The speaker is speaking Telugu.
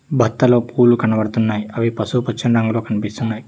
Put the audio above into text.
బత్తాలో పూలు కనపడుతున్నాయ్ అవి పసుపుపచ్చని రంగులో కనిపిస్తున్నాయ్.